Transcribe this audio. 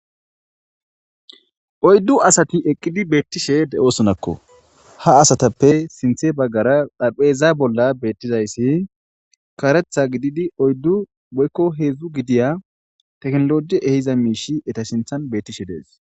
Oydu asati eqidi beetosonako ha asatappe sinthe bagara xarapheza bolla beetizaysi oydu woyko hezhi gidiya tekinoloji ehiya miidhi beetishe dees.